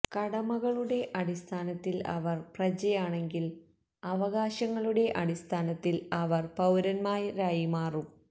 കടമകളുടെ അടിസ്ഥാനത്തിൽ അവർ പ്രജയാണെങ്കിൽ അവകാശങ്ങളുടെ അടിസ്ഥാനത്തിൽ അവർ പൌരൻമാരായി മാറും